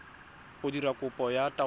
go dira kopo ya taelo